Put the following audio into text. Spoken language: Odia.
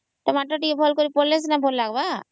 Tomato ଭଲ କରି ପଡିଲେ ତା ଭଲ ଲାଗିବ